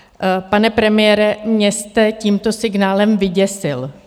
Pane premiére, mě jste tímto signálem vyděsil.